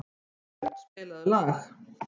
Arnbjörn, spilaðu lag.